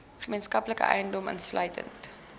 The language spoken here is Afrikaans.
gemeenskaplike eiendom insluitende